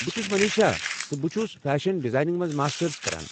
بہٕ چھس مٔنیٖشا، تہٕ بہٕ چھس فیشن ڈزایننٛگ منٛز ماسٹٕرس کران۔